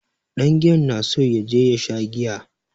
Ɗangiyan na so ya je ya sha giya.